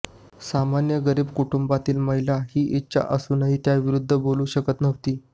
सामान्य गरीब कुटुंबातील महिला ही इच्छा असूनही त्याविरुद्ध बोलू शकत नव्हती